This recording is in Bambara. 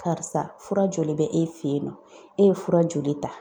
Karisa , fura joli bɛ e fɛ yen nɔ , e ye fura joli ta?